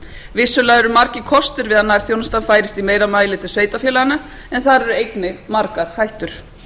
vissulega eru margir kostir við að nærþjónustan færist í meira mæli til sveitarfélaganna en þar eru einnig margar hættur